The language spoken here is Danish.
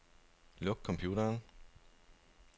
Luk computeren.